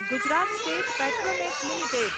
Gujarat State Petronet limited